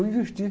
Eu inverti.